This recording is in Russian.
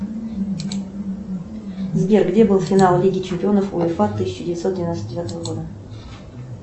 сбер где был финал лиги чемпионов уефа тысяча девятьсот девяносто девятого года